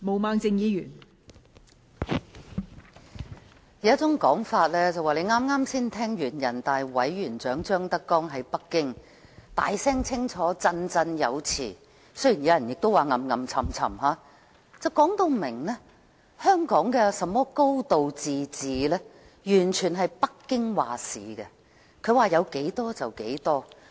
人們有一種說法。剛剛才聽完人大常委會委員長張德江在北京大聲清楚、振振有詞——雖然亦有人說是囉囉唆唆——說明香港的"高度自治"完全是由北京作主，它說有多少就是多少。